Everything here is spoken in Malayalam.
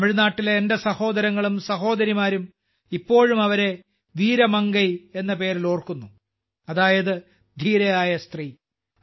തമിഴ്നാട്ടിലെ എന്റെ സഹോദരങ്ങളും സഹോദരിമാരും ഇപ്പോഴും അവരെ വീര മംഗൈ എന്ന പേരിൽ ഓർക്കുന്നു അതായത് ധീരയായ സ്ത്രീ